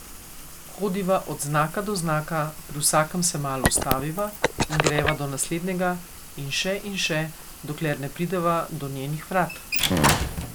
Hodiva od znaka do znaka, pri vsakem se malo ustaviva in greva do naslednjega in še in še, dokler ne prideva do njenih vrat.